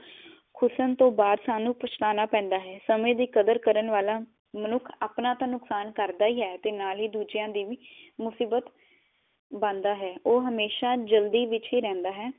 ਖੁਸਣ ਤੋ ਬਾਅਦ ਸਾਨੂੰ ਪਛਤਾਉਣਾ ਪੇੰਦਾ ਹੈ ਸਮੇ ਦੀ ਕਦਰ ਕਰਨ ਵਾਲਾ ਮਨੁਖ ਆਪਣਾ ਤਾਂ ਨੁਕਸਾਨ ਕਰਦਾ ਹੀ ਆ ਅਤੇ ਨਾਲ ਹੀ ਦੂਜਿਆ ਲਈ ਵੀ ਮੁਸੀਬਤ ਬਣਦਾ ਹੈ ਉਹ ਹਮੇਸ਼ਾ ਜਲਦੀ ਵਿਚ ਹੀ ਰਹਿੰਦਾ ਹੈ